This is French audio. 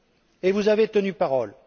Et vous avez tenu parole.